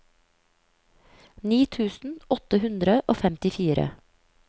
ni tusen åtte hundre og femtifire